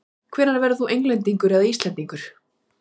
Hvenær verður þú Englendingur eða Íslendingur?